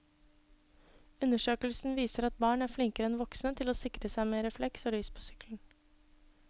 Undersøkelsen viser at barn er flinkere enn voksne til å sikre seg med refleks og lys på sykkelen.